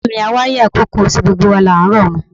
Ọ̀rẹ́ mi, awáyé àìkú kò sí, gbogbo wa là ń rọ̀run.